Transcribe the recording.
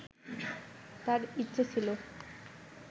তার ইচ্ছে ছিলো